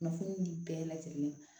Kunnafoni ni di bɛɛ lajɛlen ye